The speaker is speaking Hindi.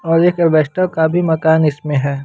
और एक एल्वेस्टर का भी मकान इसमें है।